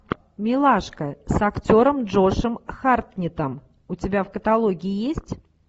милашка с актером джошем хартнеттом у тебя в каталоге есть